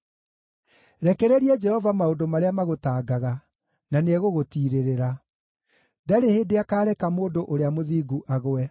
Rekereria Jehova maũndũ marĩa magũtangaga, na nĩegũgũtiirĩrĩra; ndarĩ hĩndĩ akaareka mũndũ ũrĩa mũthingu agwe.